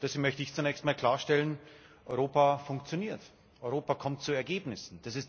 Deswegen möchte ich zunächst einmal klarstellen Europa funktioniert, Europa kommt zu Ergebnissen.